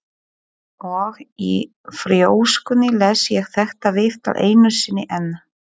Og í þrjóskunni les ég þetta viðtal einu sinni enn.